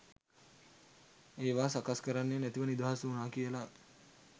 ඒවා සකස් කරන්නේ නැතිව නිදහස් වුනා කියලා